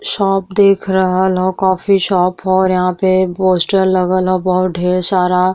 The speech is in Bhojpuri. शॉप देख रहल ह। कॉफी शॉप ह। यहाँ पर पोस्टर लगल ह बहुत ढेर सारा।